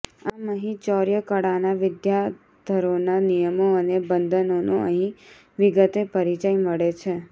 આમ અહીં ચૌર્યકળાના વિદ્યાધરોના નિયમો અને બંધનોનો અહીં વિગતે પરિચય મળે છે